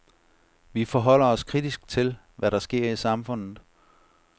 Vi forholder os kritisk til, hvad der sker i samfundet.